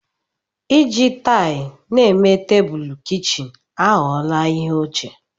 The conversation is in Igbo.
Iji taịlị na-eme tebụl kichin aghọwala ihe ochie.